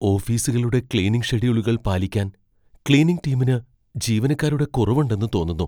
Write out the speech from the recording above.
ഓഫീസുകളുടെ ക്ലീനിംഗ് ഷെഡ്യൂളുകൾ പാലിക്കാൻ ക്ളീനിംഗ് ടീമിന് ജീവനക്കാരുടെ കുറവുണ്ടെന്ന് തോന്നുന്നു.